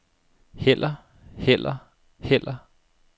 heller heller heller